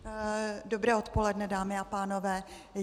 Dobré odpoledne dámy a pánové.